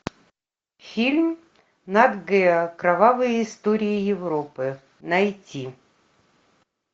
фильм нат гео кровавые истории европы найти